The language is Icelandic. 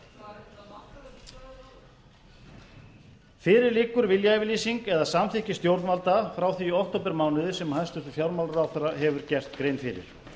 stjórnvöldum fyrir liggur viljayfirlýsing eða samþykki stjórnvalda frá því í októbermánuði sem hæstvirtur fjármálaráðherra hefur gert grein fyrir